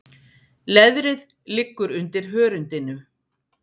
Leðrið liggur undir hörundinu.